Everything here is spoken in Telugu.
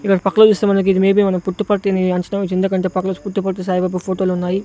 ఇడ పక్కలో చూస్తే మనకు ఇది మే బి మనం పుట్టిపత్తిని ఎందుకంటే పుట్టపర్తి సాయిబాబా ఫోటోలు ఉన్నాయి.